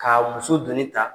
K'a muso doni ta.